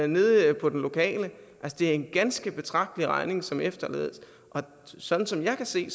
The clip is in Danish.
nede på den lokale det er en ganske betragtelig regning som efterlades og sådan som jeg kan se